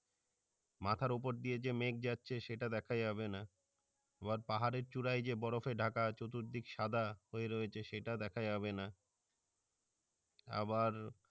মাথার উপর দিয়ে যে মেঘ যাচ্ছে সেটা দ্যাখা যাবে না আবার পাহাড়ের চূড়ায় যে বরফে ঢাকা চতুর্দিক সাদা হয়ে রয়েছে সেটা দ্যাখা যাবে না আবার